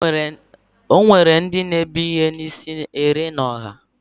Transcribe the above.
Enwere ndị na-ebu ihe n'isi ere n'ọha.